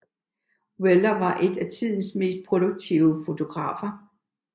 Weller var en af tidens mest produktive fotografer